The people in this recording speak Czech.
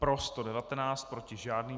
Pro 119, proti žádný.